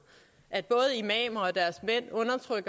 at både imamer